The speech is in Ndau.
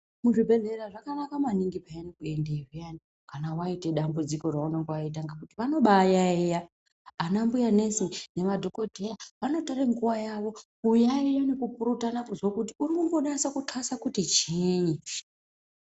Muzvibhedhlera zvakanaka maningi pheyani kuendeyo phiyani kana waite dambudziko reunonga waita ngekuti vanobayaiya. Ana mbuya nesi nemadhokodheya, vanotore nguwa yavo kuyaiya nekupurutana kuzwa kuti unombonasa kuxasa kuti chiinyi.